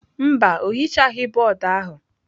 Mba, o hichaghị bọọdụ ahụ.